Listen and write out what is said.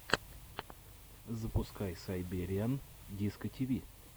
запускай сайбериан дискотиви